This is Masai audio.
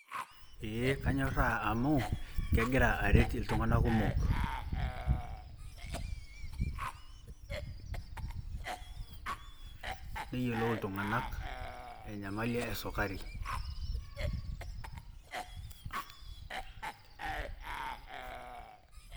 ee anyoraa amu kegira areet iltunganak kumok, neyiolou iltunganak enyamali esukari